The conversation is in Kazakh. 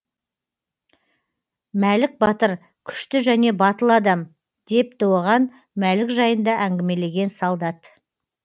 мәлік батыр күшті және батыл адам депті оған мәлік жайында әңгімелеген солдат